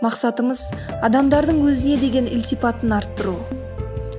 мақсатымыз адамдардың өзіне деген ілтипатын арттыру